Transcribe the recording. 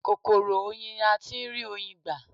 Kòkòrò oyin ni a tí ń rí Oyin gbà.